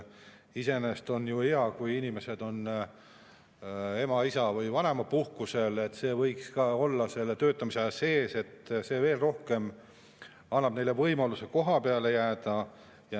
Iseenesest on ju hea, kui inimesed on ema‑, isa‑ või vanemapuhkusel, see võiks olla selle töötamise aja sees, see annab veel rohkem võimalusi, et need inimesed kohapeale jääksid.